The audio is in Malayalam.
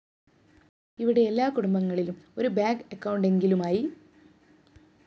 ഇവിടെ എല്ലാകുടുംബങ്ങളിലും ഒരു ബാങ്ക്‌ അക്കൗണ്ടെങ്കിലുമായി